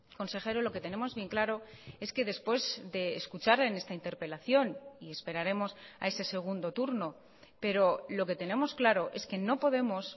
consejero lo que tenemos bien claro es que después de escuchar en esta interpelación y esperaremos a ese segundo turno pero lo que tenemos claro es que no podemos